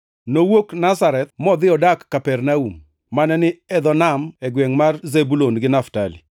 Nowuok Nazareth modhi odak Kapernaum, mane ni e dho nam e gwengʼ mar Zebulun gi Naftali,